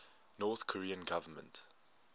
north korean government